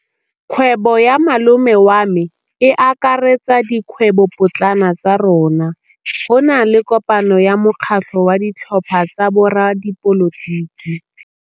Kgwêbô ya malome wa me e akaretsa dikgwêbôpotlana tsa rona. Go na le kopanô ya mokgatlhô wa ditlhopha tsa boradipolotiki.